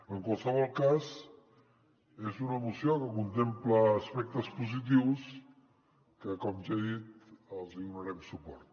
en qualsevol cas és una moció que contempla aspectes positius que com ja he dit els hi donarem suport